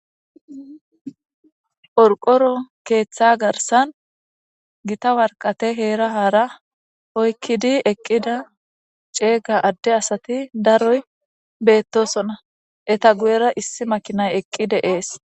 Qorqoro ketha garsan issi gitta waraqate hera hara oykidi eqqida cega ade asati daroy betosona eta guyera issi makinay eqqi de'es